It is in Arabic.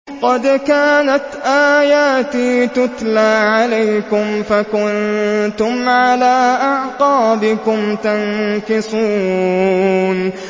قَدْ كَانَتْ آيَاتِي تُتْلَىٰ عَلَيْكُمْ فَكُنتُمْ عَلَىٰ أَعْقَابِكُمْ تَنكِصُونَ